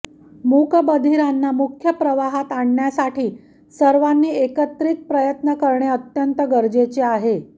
मूकबधिरांना मुख्य प्रवाहात आणण्यासाठी सर्वांनी एकत्रित प्रयत्न करणे अत्यंत गरजेचे आहे